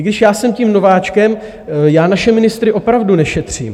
I když já jsem tím nováčkem, já naše ministry opravdu nešetřím.